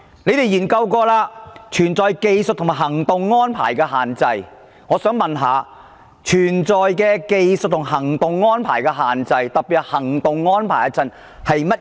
我想請問，存在技術及行動安排的限制，特別是行動安排的限制，所指的是甚麼？